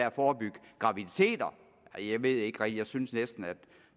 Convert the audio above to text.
at forebygge graviditeter jeg ved ikke rigtig jeg synes næsten